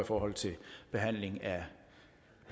politiet